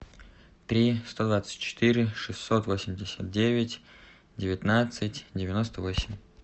три сто двадцать четыре шестьсот восемьдесят девять девятнадцать девяносто восемь